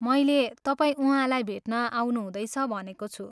मैले तपाईँ उहाँलाई भेट्न आउनुहुँदैछ भनेको छु।